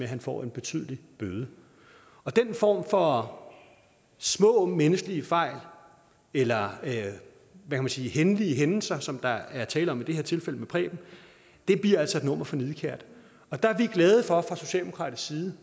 han får en betydelig bøde den form for små menneskelige fejl eller man kan sige hændelige hændelser som der er tale om i det her tilfælde med preben bliver altså et nummer for nidkært og der er vi fra socialdemokratisk side